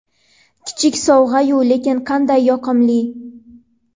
Kichik sovg‘a-yu, lekin qanday yoqimli!”.